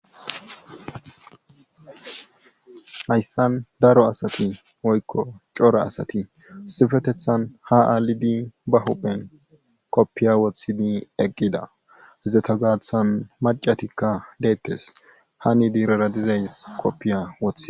Hayssan daro asati woykko cora asati issipetethan ha alidi ba huiyan kofiya wothidi eqqida izata gaaththan maccatikka deetees. hani durara dizays kofiya wothidees.